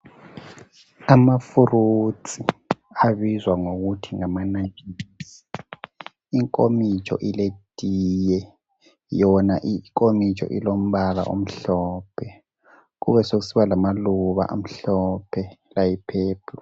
Ama fruits abizwa ngokuthi ngama nantshisi inkomitshi iletiye yona inkomitsho ilombala omhlophe, kube sekusiba lamaluba amahlophe layi purple.